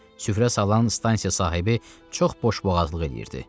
Süfrə salan stansiya sahibi çox boşboğazlıq eləyirdi.